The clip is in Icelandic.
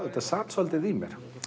þetta sat svolítið í mér